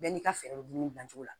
Bɛɛ n'i ka fɛɛrɛ bɛ dumuni dilancogo la